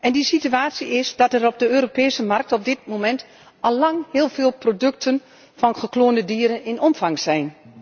En die situatie is dat er op de Europese markt op dit moment al lang heel veel producten van gekloonde dieren in omloop zijn.